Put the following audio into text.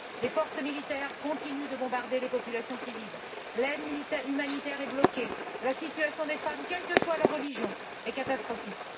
Les forces militaires continuent de bombarder les populations civiles, l'aide humanitaire est bloquée. La situation des femmes, quelle que soit leur religion, est catastrophique.